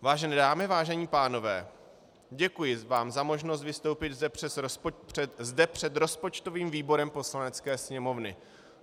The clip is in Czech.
"Vážené dámy, vážení pánové, děkuji vám za možnost vystoupit zde před rozpočtovým výborem Poslanecké sněmovny." -